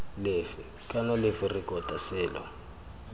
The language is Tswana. lefe kana lefe rekota selo